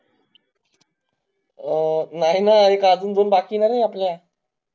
अ, नाई ना एक अजून दोन बाकीत नारे आपल्या